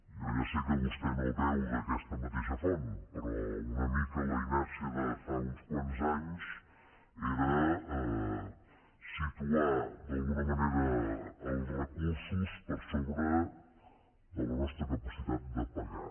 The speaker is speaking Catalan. jo ja sé que vostè no beu d’aquesta mateixa font però una mica la inèrcia de fa uns quants anys era situar d’alguna manera els recursos per sobre de la nostra capacitat de pagar